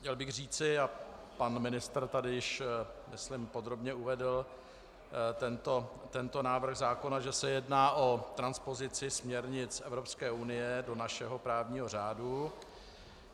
Chtěl bych říci, a pan ministr tady již myslím podrobně uvedl tento návrh zákona, že se jedná o transpozici směrnic Evropské unie do našeho právního řádu.